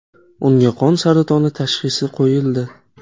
Unga qon saratoni tashxisi qo‘yildi.